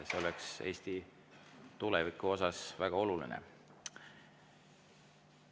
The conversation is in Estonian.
See oleks Eesti tulevikule väga oluline.